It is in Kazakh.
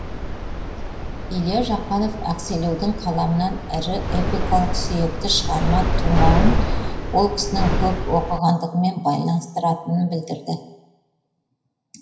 илья жақанов ақселеудің қаламынан ірі эпикалық сүйекті шығарма тумауын ол кісінің көп оқығандығымен байланыстыратынын білдірді